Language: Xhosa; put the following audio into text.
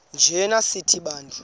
njana sithi bantu